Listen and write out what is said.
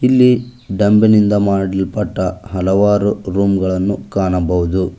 ಇಲ್ಲಿ ಡಂಬ್ ನಿಂದ ಮಾಡಲ್ಪಟ್ಟ ಹಲವಾರು ರೂಮ್ ಗಳನ್ನು ಕಾಣಬಹುದು.